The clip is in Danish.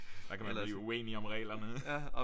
Der kan man blive uenig om reglerne